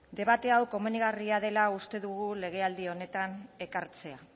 debate hau komenigarria dela uste dugu legealdi honetan ekartzea